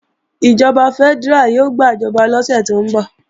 Ìjọba fẹ́dẹ́rà yóò gbàjọba lọ́sẹ̀ tó ń bọ̀